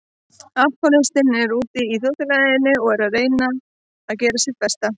Alkohólistinn er úti í þjóðfélaginu og er að reyna að gera sitt besta.